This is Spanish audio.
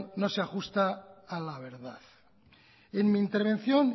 no se ajusta a la verdad en mi intervención